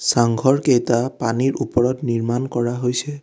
চাংঘৰকেইটা পানীৰ ওপৰত নিৰ্মাণ কৰা হৈছে।